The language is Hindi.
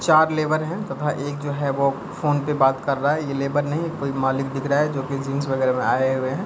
चार लेबर है तथा एक जो है वो फोन पे बात कर रहा है ये लेबर नहीं कोई मालिक दिख रहा है जो की जीन्स वगैरा में आए हुए है।